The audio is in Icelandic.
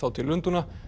til Lundúna